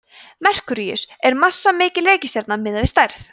merkúríus er massamikil reikistjarna miðað við stærð